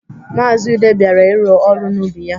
Maazi Ude bịara ịrụ ọrụ n'ubi ya.